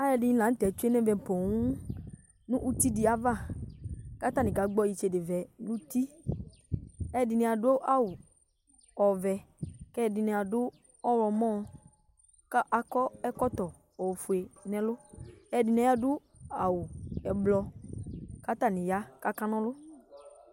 Alʋɛdɩnɩ la nʋ tɛ tsue nʋ ɛvɛ poo nʋ uti dɩ ava kʋ atanɩ kagbɔ itsedevɛ nʋ uti Alʋɛdɩnɩ adʋ awʋ ɔvɛ kʋ ɛdɩnɩ adʋ ɔɣlɔmɔ kʋ akɔ ɛkɔtɔ ofue nʋ ɛlʋ Ɛdɩnɩ adʋ awʋ ɛblɔ kʋ atanɩ ya kʋ akana ɔlʋ